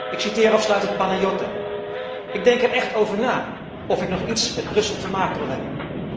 Ik citeer afsluitend Panagiota Ik denk er echt over na of ik nog iets met Brussel te maken wil hebben.